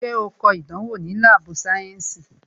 Ṣé o kọ ìdánwò ni láàbù sayensi?